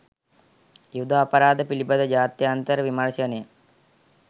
යුද අපරාධ පිළිබඳ ජාත්‍යන්තර විමර්ශනය